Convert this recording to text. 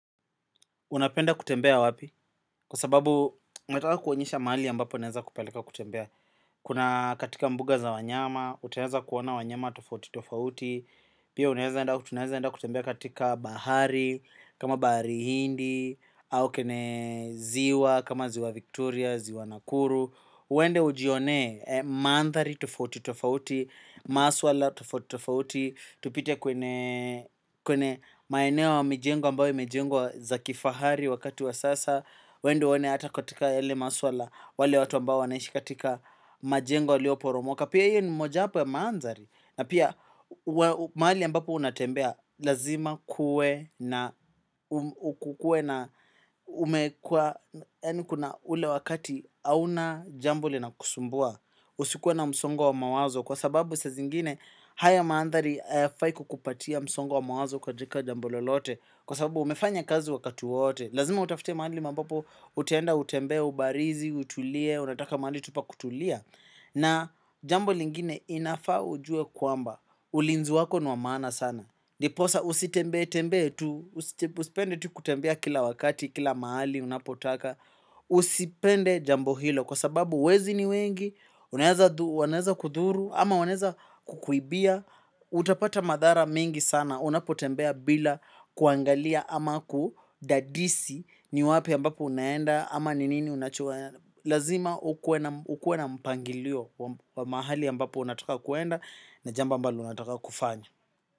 Unapenda kutembea wapi? Kwa sababu nataka kuonyesha mahali ambapo naeza kupeleka kutembea. Kuna katika mbuga za wanyama, utaweza kuona wanyama tofauti tofauti. Pia unaeza enda tunaeza ebda kutembea katika bahari, kama bahari hindi, au kene ziwa, kama ziwa Victoria, ziwa Nakuru. Uende ujione, mandhari tofauti tofauti, masuala tofauti tofauti. Tupite kwenye maeneo wa mijengo ambayo imejengwa za kifahari wakati wa sasa uende one hata katika yale maswala wale watu ambao wanaishi katika majengo yalio poromoka. Pia hiyo ni moja hapa ya mandhari. Na pia mahali ambapo unatembea lazima kuwe na pia unaeza enda tunaeza ebda kutembea katika bahari, kama bahari hindi, au kene ziwa, kama ziwa Victoria, ziwa Nakuru. Haya mandhari hayafai kukupatia msongo wa mawazo katika jambo lolote. Kwa sababu umefanya kazi wakati wote. Lazima utafute mahali ambapo utaenda utembee, ubarizi, utulie, unataka mahali tu pa kutulia. Na jambo lingine inafaa ujue kwamba, ulinzi wako ni wa maana sana ndiposa usitembee, tembee tu, usipende tu kutembea kila wakati, kila mahali unapotaka usipende jambo hilo kwa sababu wezi ni wengi unaeza wanaeza kudhuru ama wanaeza kukuibia utapata madhara mingi sana unapotembea bila kuangalia ama kudadisi ni wapi ambapo unaenda ama ni nini unachua lazima ukue na mpangilio wa mahali ambapo unataka kuenda na jambo ambalo unataka kufanya.